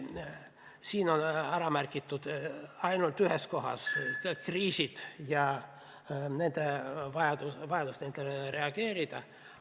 Siin on ainult ühes kohas ära märgitud kriisid ja vajadus nendele reageerida.